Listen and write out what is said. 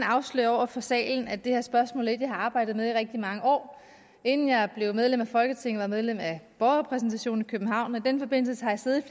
afsløre over for salen at det her spørgsmål er et jeg har arbejdet med i rigtig mange år inden jeg blev medlem af folketinget medlem af borgerrepræsentationen i københavn og i den forbindelse har jeg siddet i